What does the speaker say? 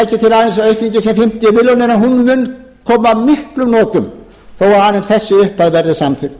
milljónir mun koma að miklum notum þó að aðeins þessi upphæð verði samþykkt